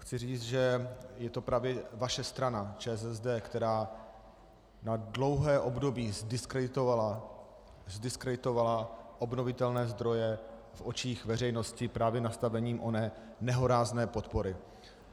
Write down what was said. Chci říct, že je to právě vaše strana ČSSD, která na dlouhé období zdiskreditovala obnovitelné zdroje v očích veřejnosti právě nastavením oné nehorázné podpory.